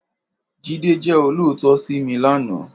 Jide jè ólóòtọ̀ si mi làná